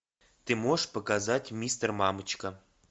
ты можешь показать мистер мамочка